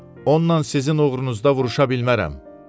Onunla sizin uğrunuzda vuruşa bilmərəm.